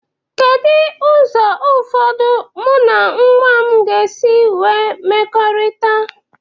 Kedu ụzọ ụfọdụ mụ na nwa m ga-esi nwee mmekọrịta?